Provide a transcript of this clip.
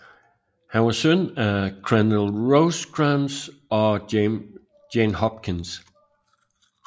Han var søn af Crandell Rosecrans og Jane Hopkins